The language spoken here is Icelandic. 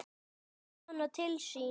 Dregur hana til sín.